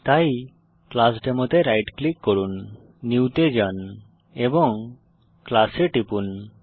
তাই ক্লাসডেমো তে right click করুন নিউ তে যান এবং ক্লাস এ টিপুন